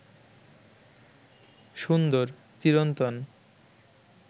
সুন্দর, চিরন্তন